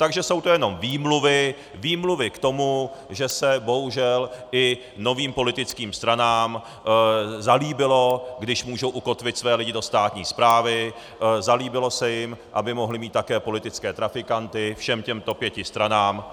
Takže jsou to jenom výmluvy, výmluvy k tomu, že se bohužel i novým politickým stranám zalíbilo, když můžou ukotvit své lidi do státní správy, zalíbilo se jim, aby mohly mít také politické trafikanty, všem těmto pěti stranám.